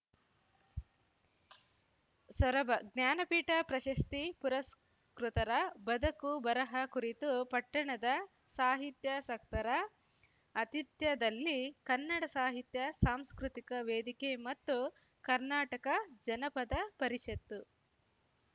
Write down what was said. ಸೊರಬ ಜ್ಞಾನಪೀಠ ಪ್ರಶಸ್ತಿ ಪುರಸ್ಕೃತರ ಬದಕುಬರಹ ಕುರಿತು ಪಟ್ಟಣದ ಸಾಹಿತ್ಯಾಸಕ್ತರ ಅತಿಥ್ಯದಲ್ಲಿ ಕನ್ನಡ ಸಾಹಿತ್ಯ ಸಾಂಸ್ಕೃತಿಕ ವೇದಿಕೆ ಮತ್ತು ಕರ್ನಾಟಕ ಜನಪದ ಪರಿಷತ್ತು